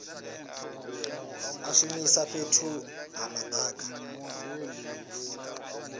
a shumisa fhethu ha madaka